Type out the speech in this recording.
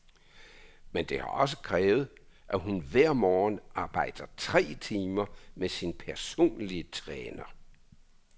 Men det har også krævet, at hun hver morgen arbejder tre timer med sin personlige træner.